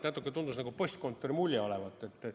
Natuke postkontori mulje jääb.